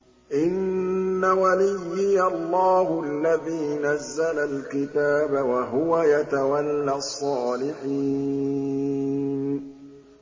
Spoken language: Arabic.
إِنَّ وَلِيِّيَ اللَّهُ الَّذِي نَزَّلَ الْكِتَابَ ۖ وَهُوَ يَتَوَلَّى الصَّالِحِينَ